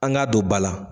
An k'a don ba la